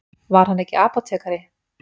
Var hann ekki apótekari?